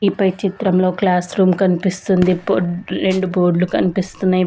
ఈ పై చిత్రంలో క్లాస్ రూమ్ కనిపిస్తుంది పో రెండు బోర్డులు కనిపిస్తున్నాయి.